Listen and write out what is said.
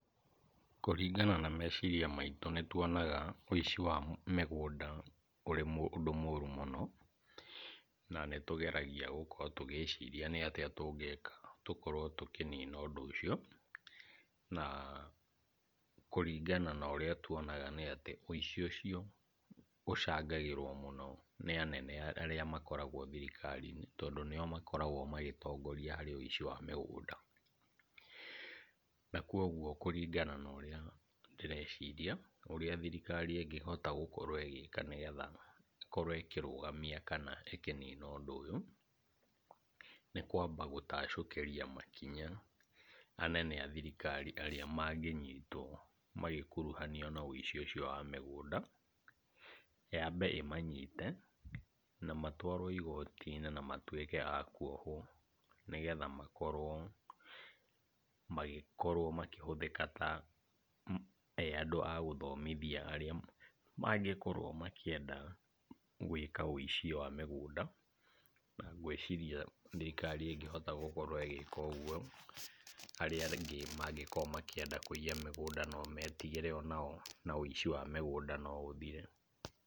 Kũringana na meciria maitũ nĩtuonaga wĩici wa mĩgũnda ũrĩ ũndũ mũru mũno, na nĩtũgeragia gũkorwo tũgĩciria nĩ atĩa tũngĩka tũkorwo tũkĩnina ũndũ ũcio, na kũringana na ũrĩa tuonga nĩ atĩ wĩici ũcio ũcangagĩrwo mũno nĩ anene arĩa makoragwo thirikari-inĩ tondũ nĩo makoragwo magĩtongoria harĩ wĩici wa mĩgũnda, na kuoguo kũringa na ũrĩa ndĩreciria, ũrĩa thirikari ĩngĩhota gũkorwo ĩgĩka nĩgetha ĩkorwo ĩkĩrũgamia kana ĩkĩnina ũndũ ũyũ, nĩ kwamba gũtacũkĩria makinya anene a thirikari arĩa mangĩnyitwo magĩkuruhanio na wĩici ũcio wa mĩgũnda, yambe ĩmanyite, na matwarwo igoti-inĩ na matuĩke a kuohwo, nĩgetha makorwo magĩkorwo makĩhũthĩka ta me andũ a gũthomithia arĩa mangĩkorwo makĩenda gwĩka wĩici wa mĩgũnda. Na, ngwĩciria thirikari ĩngĩhota gũkorwo ĩgĩka ũguo, arĩa angĩ mangĩkorwo makĩenda kũiya mĩgũnda no metigĩre onao na wĩici wa mĩgũnda no ũthire.